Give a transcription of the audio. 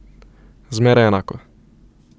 Zmeraj enako.